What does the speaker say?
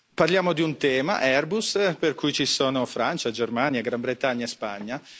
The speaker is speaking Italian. Parliamo di un tema, Airbus, per cui ci sono Francia, Germania, Gran Bretagna e Spagna.